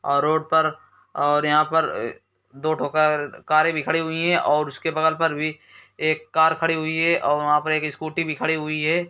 और रोड पर और यहाँ पर अ दो ठो कर कारे भी खड़ी है और उसके बगल पर भी एक कार खड़ी हुई है और वहा पर एक स्कूटी भी खड़ी हुई हैं।